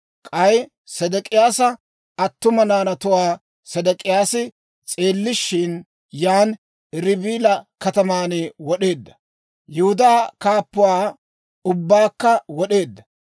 K'ay Sedek'iyaasa attuma naanatuwaa Sedek'iyaasi s'eellishshin, yaan Ribila kataman wod'eedda; Yihudaa kaappatuwaa ubbaakka wod'eedda.